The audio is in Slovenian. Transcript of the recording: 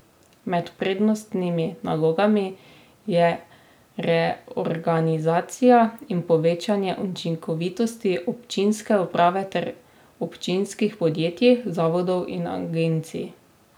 Med prednostnimi nalogami je reorganizacija in povečanje učinkovitosti občinske uprave ter občinskih podjetij, zavodov in agencij.